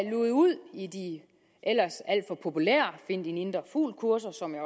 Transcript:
luget ud i de ellers alt for populære find din indre fugl kurser som jeg